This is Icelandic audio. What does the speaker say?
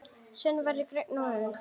Svenni verður grænn af öfund.